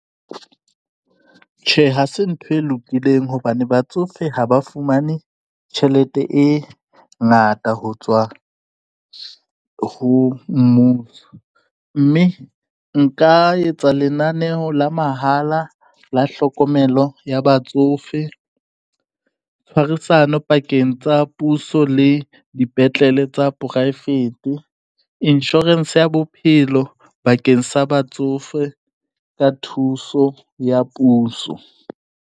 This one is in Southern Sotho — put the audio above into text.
Tjhe, ha se ntho e lokileng hobane batsofe ha ba fumane tjhelete e ngata ho tswa ho mmuso, mme nka etsa lenaneo la mahala la hlokomelo ya batsofe, tshwarisano pakeng tsa puso le dipetlele tsa poraefete, insurance ya bophelo bakeng sa batsofe ka thuso ya puso.